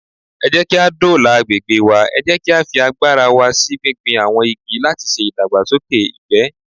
Ẹ jẹ́kí á dóòlà agbègbè wa, ẹ jẹ́ kí á fi agbára wa sí gbígbin àwọn igi látiṣe ìdàgbàsókè ìgbẹ́.